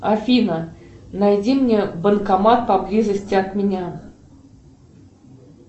афина найди мне банкомат поблизости от меня